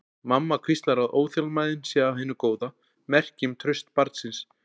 Mamma hvíslar að óþolinmæðin sé af hinu góða, merki um traust barnsins.